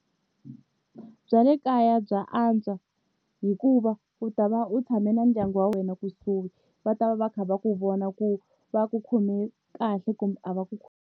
Bya le kaya bya antswa hikuva u ta va u tshame na ndyangu wa wena kusuhi va ta va va kha va ku vona ku va ku khome kahle kumbe a va ku .